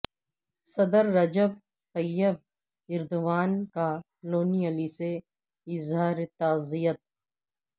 صدر Recep Tayyip Erdogan کا لونی علی سے اظہار تعزیت